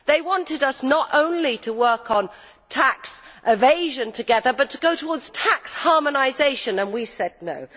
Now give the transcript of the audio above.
They wanted us not only to work on tax evasion together, but to go towards tax harmonisation and we said no'.